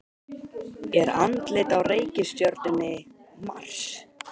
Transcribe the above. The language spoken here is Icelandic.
Er andlit á reikistjörnunni Mars?